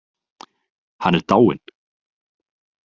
Hann er dáinn.